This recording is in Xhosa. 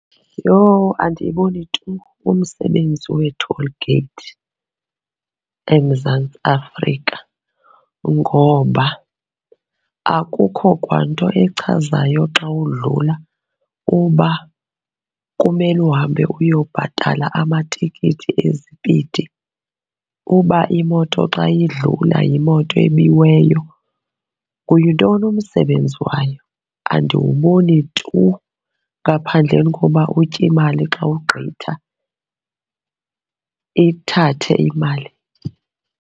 Yho, andiyiboni tu umsebenzi wee-toll gate eMzantsi Afrika ngoba akukho kwanto echazayo xa udlula uba kumele uhambe uyobabhatala amatikiti ezipidi, uba imoto xa idlula yimoto ebiweyo. Yintoni umsebenzi wayo? Andiwuboni tu ngaphandleni koba utye imali xa ugqitha, ithathe imali.